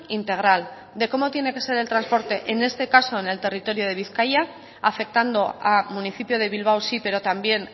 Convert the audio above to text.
integral de cómo tiene que ser el transporte en este caso en el territorio de bizkaia afectando a municipio de bilbao sí pero también